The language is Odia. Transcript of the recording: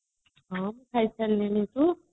ହଁ ମୁଁ ଖାଇ ସାରିଲିଣି ତୁ